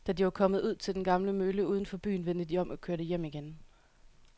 Da de var kommet ud til den gamle mølle uden for byen, vendte de om og kørte hjem igen.